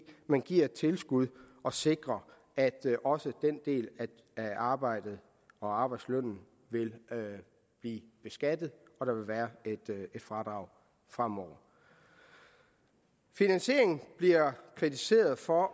men giver et tilskud og sikrer at også den del af arbejdet og arbejdslønnen vil blive beskattet og der vil være et fradrag fremover finansieringen bliver kritiseret for